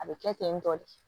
A bɛ kɛ ten tɔ de